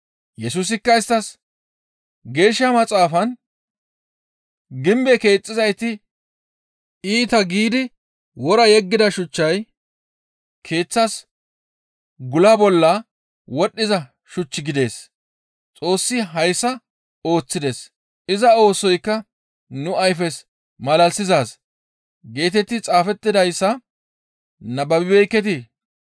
Yesusikka isttas, «Geeshsha Maxaafan, ‹Gimbe keexxizayti iita giidi wora yeggida shuchchay keeththas gula bolla wodhdhiza shuch gidides; Xoossi hayssa ooththides; iza oosoykka nu ayfes malalisizaaz› geetetti xaafettidayssa nababibeekketii?